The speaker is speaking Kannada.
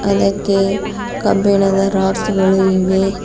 ಅದಕ್ಕೆ ಕಬ್ಬಿಣದ ರಾಡ್ಸ್ ಗಳು ಇವೆ.